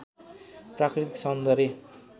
प्राकृतिक सौन्दर्य